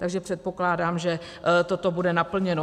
Takže předpokládám, že toto bude naplněno.